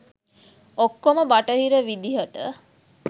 ඔක්කොම බටහිර විදියට.